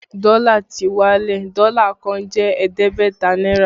Dọ́là ti wálẹ̀, Dọ́là kan jẹ́ ẹ̀ẹ́dẹ́gbẹ̀ta náírà